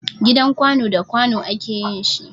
Gidan Kwanu da kwanu a ke yin shi.